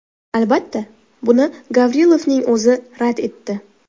Albatta, buni Gavrilovning o‘zi rad etdi.